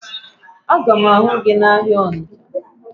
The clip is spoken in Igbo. Aga m ahụ gị n'ahịa Ọnịcha